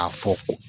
A fɔ